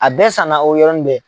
A bɛɛ sannan o yɔrɔ bɛɛ.